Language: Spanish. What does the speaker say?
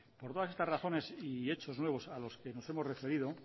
por todas estas razones y hechos nuevos a los que nos hemos referido